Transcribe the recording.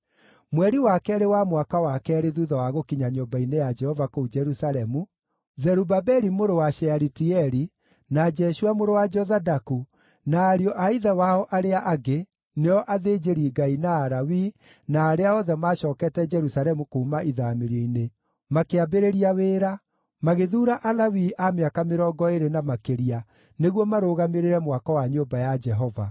Mweri wa keerĩ wa mwaka wa keerĩ thuutha wa gũkinya nyũmba-inĩ ya Jehova kũu Jerusalemu, Zerubabeli mũrũ wa Shealitieli, na Jeshua mũrũ wa Jozadaku na ariũ a ithe wao arĩa angĩ (nĩo athĩnjĩri-Ngai, na Alawii, na arĩa othe maacookete Jerusalemu kuuma ithaamĩrio-inĩ) makĩambĩrĩria wĩra, magĩthuura Alawii a mĩaka mĩrongo ĩĩrĩ na makĩria nĩguo marũgamĩrĩre mwako wa nyũmba ya Jehova.